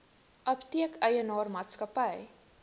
apteek eienaar maatskappy